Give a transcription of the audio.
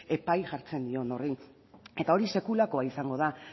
epai jartzen dion horri eta hori sekulakoa izango da